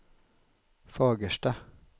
Fagersta